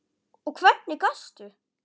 Og hvernig gastu?